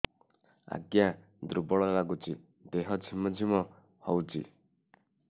ଆଜ୍ଞା ଦୁର୍ବଳ ଲାଗୁଚି ଦେହ ଝିମଝିମ ହଉଛି